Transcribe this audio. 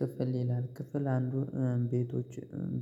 ክፍል ይላል ክፍል አንዱ ቤቶች